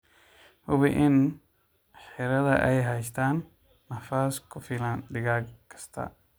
Hubi in xiradhaa ay haystaan ??nafaas ku filan digaag kasta.